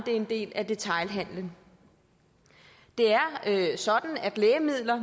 er en del af detailhandelen det er sådan at lægemidler